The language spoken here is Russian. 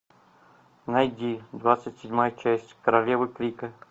найди двадцать седьмая часть королева крика